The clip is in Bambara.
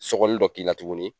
Sɔkɔli dɔ k'i la tuguni